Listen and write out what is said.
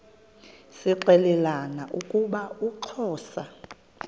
zixelelana ukuba uxhosa